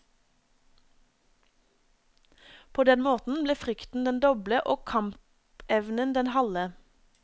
På den måten ble frykten den doble og kampevnen den halve.